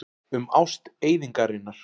Um ást eyðingarinnar.